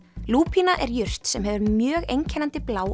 lúpína er jurt sem hefur mjög einkennandi blá